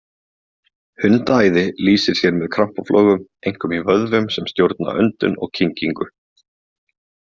Hundaæði lýsir sér með krampaflogum, einkum í vöðvum sem stjórna öndun og kyngingu.